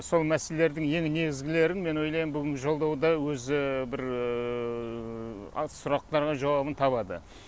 сол мәселелердің ең негізгілерін мен ойлаймын бүгінгі жолдауда өзі бір аз сұрақтарға жауабын табады